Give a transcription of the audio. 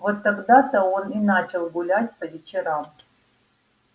вот тогда то он и начал гулять по вечерам